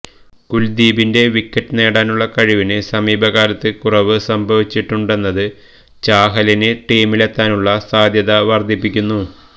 കുല്ദീപിന്റെ wicket നേടാനുള്ള കഴിവിന് സമീപകാലത്ത് കുറവ് സംഭവിച്ചിട്ടുണ്ടെന്നത് ചാഹലിന് ടീമിലെത്താനുള്ള സാധ്യത വര്ധിപ്പിക്കുന്നു